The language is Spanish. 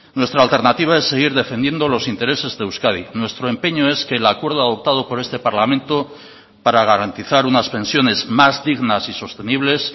nuestra alternativa es seguir defendiendo los intereses de euskadi nuestro empeño es que el acuerdo adoptado por este parlamento para garantizar unas pensiones más dignas y sostenibles